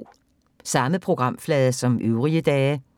Samme programflade som øvrige dage